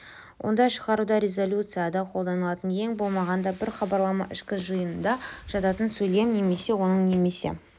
онда шығаруды резолюцияда қолданылатын ең болмағанда бір хабарлама ішкі жиынында жататын сөйлем немесе оның немесе